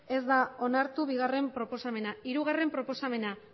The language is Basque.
ez da onartu bigarrena proposamena hirugarrena proposamena